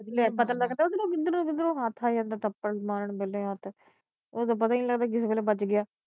ਲੈ ਪਤਾ ਲਗਦਾ ਓਧਰੋਂ ਕਿਧਰੋਂ ਕਿਧਰੋਂ ਹੱਥ ਆ ਜਾਂਦਾ ਥੱਪੜ ਮਾਰਨ ਦੇ ਲਈ ਹੱਥ ਓਦੋ ਪਤਾ ਨਹੀਂ ਲਗਦਾ ਕਿਸੇ ਵੇਲੇ ਵੱਜ ਗਿਆ।